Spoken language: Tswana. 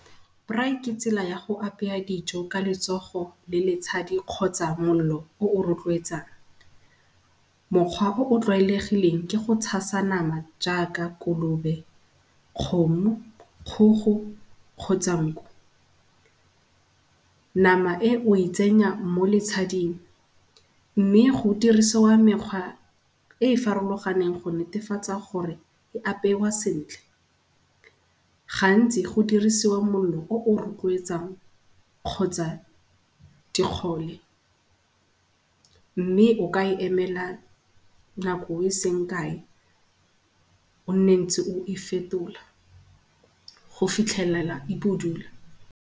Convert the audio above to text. Braai ke tsela ya go apeya dijo ka letsogo le letshadi kgotsa mollo o o rotloetsang. Mokgwa o o tlwaelegileng ke go tshasa nama jaaka kolobe, kgomo, kgogo kgotsa nku. Nama e o e tsenya mo letshading mme go dirisiwa mekgwa e e farologaneng go netefatsa gore e apewa sentle. Gantsi go dirisiwa mollo o o rotloetsang kgotsa dikgole, mme o ka e emela nako eseng kae, o nne o ntse o e fetola go fitlhelela e budule.